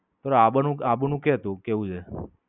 તું આબ નું, આબુ નું કે તું કેવું છે?